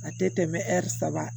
A tɛ tɛmɛ saba kan